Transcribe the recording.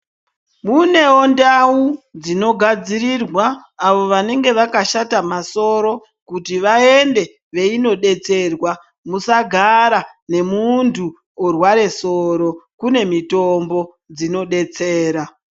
Mune ndau dzinogadzirirwa avo vanenge vakashata masoro, kuti vaende veindodetserwa, musagara nemuntu orwara soro, kune mitombo dzinodetsera.